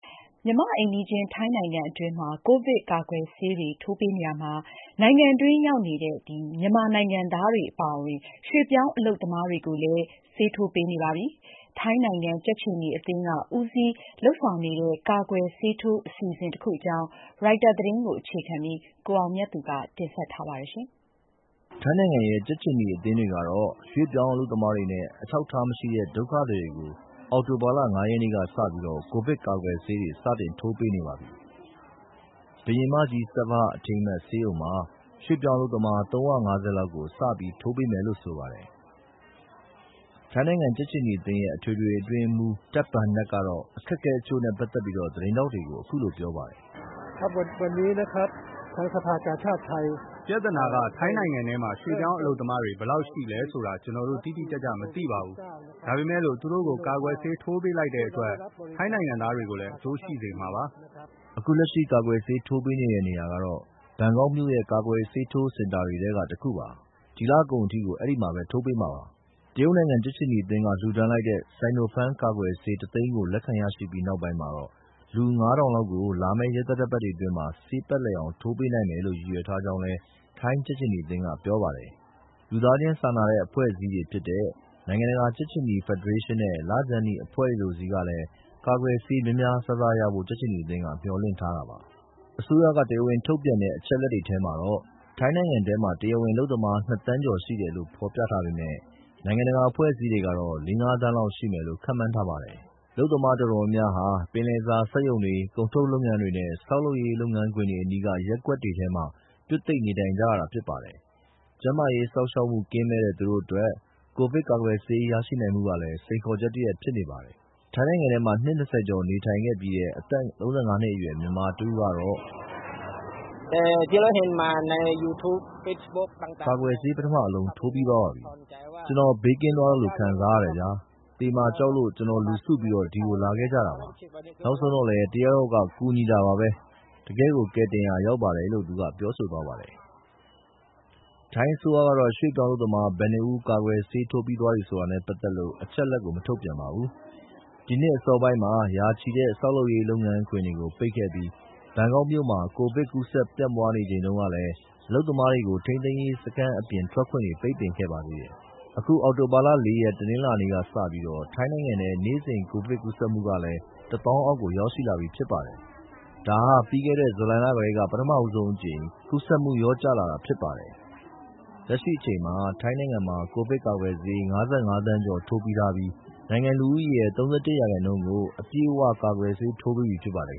မြန်မာ့ အိမ်နီးချင်း ထိုင်းနိုင်ငံအတွင်းမှာ ကိုဗစ်ကာကွယ်ဆေးတွေ ထိုးပေးနေရာမှာ နိုင်ငံတွင်းရောက်နေတဲ့ မြန်မာနိုင်ငံသားတွေ အပါအဝင် ရွှေ့ပြောင်းအလုပ်သမားတွေကိုလည်း ဆေးထိုးပေးနေပါပြီ။ ထိုင်းနိုင်ငံ ကြက်ခြေနီအသင်းက ဦးစီးဦးဆောင်လုပ်နေတဲ့ ကာကွယ်ဆေးထိုးအစီအစဉ်တခု အကြောင်း ရိုက်တာသတင်းကို ကိုအောင်မြတ်သူပြောပြပါမယ်။ ထိုင်းနိုင်ငံရဲ့ ကြက်ခြေနီ အသင်းတွေကတော့ ရွှေ့ပြောင်းအလုပ်သမားတွေနဲ့ အထောက်အထားမရှိတဲ့ ဒုက္ခသည်တွေကို အောက်တိုဘာ ၅ ရက်နေ့ကစပြီး ကိုဗစ်ကာကာကွယ်ဆေးတွေ စတင်ထိုးပေးနေပါပြီ။ Queen Saovabha Memorial Institute ဘုရင်မကြီး Saovabha အထိမ်းအမှတ် ဆေးရုံမှာ ရွှေ့ပြောင်းအလုပ်သမား ၃၅၀ လောက်ကို စပြီးထိုးပေးမယ်လို့ဆိုပါတယ်။ ထိုင်း ကြက်ခြေနီအသင်းရဲ့ အထွေထွေအတွင်းရေးမှူး Tej Bunnag ကတော့ အခက်အခဲတချို့နဲ့ ပက်သက်ပြီး သတင်းထောက်တွေကို အခုလိုပြောပါတယ်။ “ပြဿနာက ထိုင်းနိုင်ငံထဲမှာ ရွှေ့ပြောင်းအလုပ်သမား ဘယ်လောက်ရှိလဲဆိုတာ ကျနော်တို့တိတိကျကျ မသိပါဘူး။ ဒါပေမယ့်လို့ သူတို့ကို ကာကွယ်ဆေး ထိုးပေးလိုက်တဲ့အတွက် ထိုင်းနိုင်ငံသားတွေကိုလည်း အကျိုးရှိစေမှာပါ။” အခုလက်ရှိ ကာကွယ်ဆေးထိုးပေးနေတဲ့ နေရာကတော့ ဘန်ကောက်မြို့ရဲ့ ကာကွယ်ဆေးထိုးစင်တာတွေထဲက တခုပါ။ ဒီလကုန်ထိ ဒီမှာ ထိုးပေးမှာပါ။ တရုတ်နိုင်ငံရဲ့ ကြက်ခြေနီအသင်းက လှူဒါန်းလိုက်တဲ့ Sinopharm ကာကွယ်ဆေး ၁၀၀,၀၀၀ လက်ခံရရှိပြီးနောက်ပိုင်းမှာ လူ ၅၀၀၀ လောက်ကို လာမယ့် ရက်သတ္တပတ်တွေအတွင်း ဆေးပတ်လည်အောင် ထိုးပေးနိုင်မယ်လို့ ရည်ရွယ်ထားကြောင်း ထိုင်းကြက်ခြေနီက ပြောပါတယ်။ လူသားချင်းစာနာတဲ့ အဖွဲ့အစည်းတွေဖြစ်တဲ့ နိုင်ငံတကာ ကြက်ခြေနီ ဖက်ဒရေးရှင်းနဲ့ လခြမ်းနီအဖွဲ့တွေလိုတွေဆီကလည်း ကာကွယ်ဆေးများများစားစားရဖို့ မျှော်လင့်ထားတာပါ။ အစိုးရ တရားဝင်ထုတ်ပြန်တဲ့ အချက်အလက်တွေထဲမှာတော့ ထိုင်းနိုင်ငံထဲမှာ တရားဝင်အလုပ်သမား ၂ ဒသမ ၃၅ သန်းရှိတယ်လို့ဖော်ပြထားပေမယ့် နိုင်ငံတကာအဖွဲ့အစည်းတွေကတော့ ၄ သန်း - ၅ သန်းလောက် ရှိမယ်လို့ ခန့်မှန်းထားပါတယ်။ အလုပ်သမား တော်တော်များများဟာ ပင်လယ်စာ စက်ရုံတွေ၊ ကုန်ထုတ်လုပ်ငန်းတွေ နဲ့ ဆောက်လုပ်ရေး လုပ်ငန်းခွင်တွေအနီးက ရပ်ကွက်တွေမှာ ပြွတ်သိပ်နေထိုင်ကြရပါတယ်။ ကျန်းမာရေးစောင့်ရှောက်မှု ကင်းမဲ့တဲ့ သူတို့အတွက် ကိုဗစ်ကာကွယ်ဆေး ရရှိနိုင်မှုက စိန်ခေါ်ချက်တရပ်လည်း ဖြစ်နေပါတယ်။ ထိုင်းနိုင်ငံထဲမှာ နှစ် ၂၀ ကျော်နေထိုင်ခဲ့ပြီးတဲ့ အသက် ၃၅ နှစ်အရွယ် မြန်မာတဦးကတော့ ကာကွယ်ဆေး ပထမအလုံး ထိုးပြီးသွားပါပြီ။ “ကျနော် ဘေးကင်းသွားသလို ခံစားရတယ်ဗျာ။ သေမှာကြောက်လို့ ကျနော်တို့အုပ်စုလိုက်ဒီကို လာခဲ့ကြတာပါ။ နောက်ဆုံးတော့လည်း တယောက်ယောက်က ကူညီတာပါပဲ။ တကယ့်ကို ကယ်တင်ရာရောက်ပါတယ်။” ထိုင်းအစိုးရကတော့ ရွှေ့ပြောင်းအလုပ်သမား ဘယ်နှဦးကာကွယ်ဆေး ထိုးပြီးသွားတယ်ဆိုတာနဲ့ပက်သက်လို့ အချက်အလက် မထုတ်ပြန်ပါဘူး။ ဒီနှစ်အစောပိုင်းကတော့ ရာချီတဲ့ ဆောက်လုပ်ရေး လုပ်ငန်းခွင်တွေကို ပိတ်ခဲ့ပြီး ဘန်ကောက်မြို့မှာ ကိုဗစ်စတင် ပြန့်ပွားနေချိန်တုန်းကလည်း အလုပ်သမားတွေကို ထိန်းသိမ်းရေး စခန်း အပြင်ထွက်ခွင့်တွေ ပိတ်ပင်ခဲ့ပါတယ်။ အခု အောက်တိုဘာ ၄ ရက် တနင်္လာနေ့ကစပြီး ထိုင်းနိုင်ငံထဲ နေ့စဉ် ကိုဗစ်ကူးစက်မှုဟာလည်း ၁၀,၀၀၀ အောက် ရောက်ရှိလာပြီဖြစ်ပါတယ်။ ဒါဟာ ပြီးခဲ့တဲ့ ဇူလိုင်လ လယ် ကတည်းက ပထဆုံးအကြိမ် ကူးစက်မှု လျော့ကျလာတာလည်း ဖြစ်ပါတယ်။ လက်ရှိအချိန်မှာ ထိုင်းနိုင်ငံမှာ ကိုဗစ်ကာကွယ်ဆေး ၅၅ သန်းကျော်ထိုးပြီးထားပြီး နိုင်ငံလူဦးရေရဲ့ ၃၁ ရာခိုင်နှုန်းကို အပြည့်အ၀ ကာကွယ်ဆေးထိုးပေးပြီးဖြစ်ပါတယ်